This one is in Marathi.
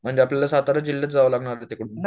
म्हणजे आपल्याला सातारा जिल्ह्यात जावा लागेल तिकडून